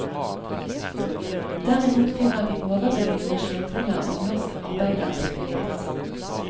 Derimot finner vi overbevisende skildringer av norsk arbeidervirkelighet.